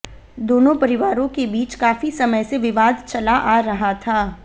दोनों परिवारों के बीच काफी समय से विवाद चला आ रहा था